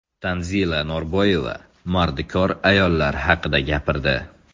Tanzila Norboyeva mardikor ayollar haqida gapirdi.